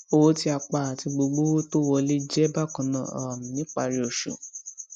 owó tí a pa àti gbogbo owó tó wọlé jẹ bákannáà um ní ìparí oṣù